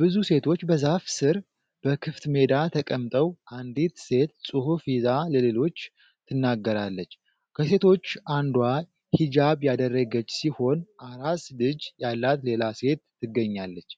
ብዙ ሴቶች በዛፍ ሥር በክፍት ሜዳ ተቀምጠው፣ አንዲት ሴት ጽሑፍ ይዛ ለሌሎቹ ትናገራለች። ከሴቶቹ አንዷ ሂጃብ ያደረገች ሲሆን፣ አራስ ልጅ ያላት ሌላ ሴት ትገኛለች።